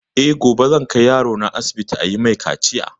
Eh gobe zan kai yarona asibiti ayi mai kaciya